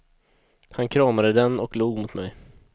Han kramade den och log mot mig.